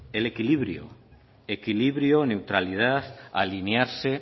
el equilibrio neutralidad alinearse